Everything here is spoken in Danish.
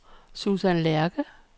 Susan Lerche